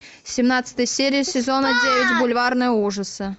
семнадцатая серия сезона девять бульварные ужасы